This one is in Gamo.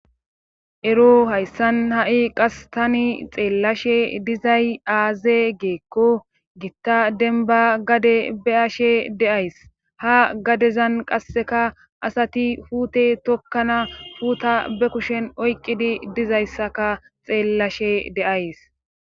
Ero hayssan ha'i qas tani xeellashe dizay aaze geekko gitta denba gade be ashe deays ha gadezan qasseka asati huute tokkana huuta be kushen oyqqidi dizayssaka xeellashe deays.